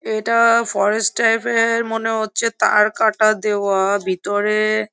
এটা forest type এ মনে হচ্ছে তারকাটা দেওয়া ভিতরে।